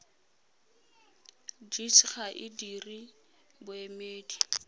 gcis ga e dire boemedi